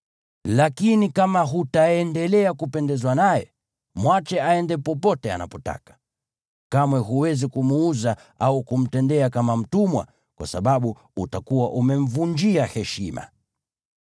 Lakini kama hutaendelea kupendezwa naye, mwache aende popote anapotaka. Kamwe huwezi kumuuza au kumtendea kama mtumwa, kwa sababu utakuwa umemvunjia heshima.